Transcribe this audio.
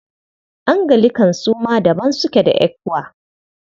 Anglican su ma daban suke da ECWA.